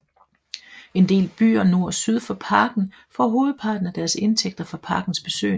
En del byer nord og syd for parken får hovedparten af deres indtægter fra parkens besøgende